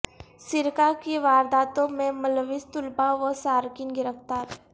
سرقہ کی وارداتوں میں ملوث طلبہ و سارقین گرفتار